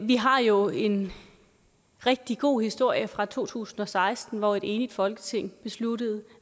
vi har jo en rigtig god historie fra to tusind og seksten hvor et enigt folketing besluttede